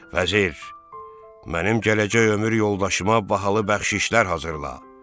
Vəzir, mənim gələcək ömür yoldaşıma bahalı bəxşişlər hazırla.